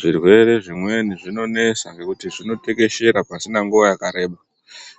Zvirwere zvimweni zvino nesa nekuti zvino tekeshera pasina nguva yakareba